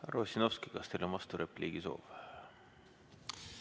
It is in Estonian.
Härra Ossinovski, kas teil on vasturepliigi soov?